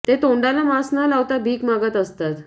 ते तोंडाला मास्क न लावता भीक मागत असतात